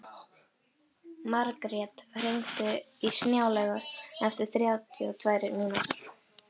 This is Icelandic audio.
Margrjet, hringdu í Snjálaugu eftir þrjátíu og tvær mínútur.